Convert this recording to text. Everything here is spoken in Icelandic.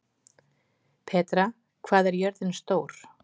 Petra, hvað er jörðin stór?